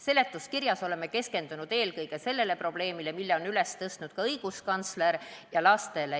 Seletuskirjas oleme keskendunud eelkõige sellele probleemile, mille on üles tõstnud õiguskantsler, ja lastele.